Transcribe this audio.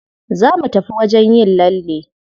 Za mu tafi wajen yin lalle.